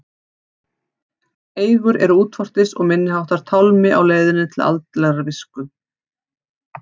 En eigur eru útvortis og minniháttar tálmi á leiðinni til andlegrar skírslu.